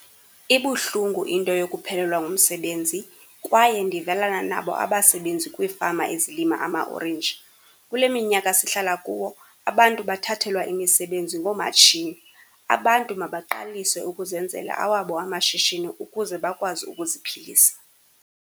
Ibuhlungu into yokuphelelwa ngumsebenzi kwaye ndivelana nabo abasebenzi kwiifama ezilima amaorenji. Kule minyaka sihlala kuwo abantu bathathelwa imisebenzi ngoomatshini. Abantu mabaqalise ukuzenzela awabo amashishini ukuze bakwazi ukuziphilisa.